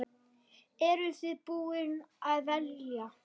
Eru þið búin að velja?